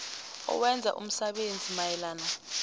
owenza umsebenzi mayelana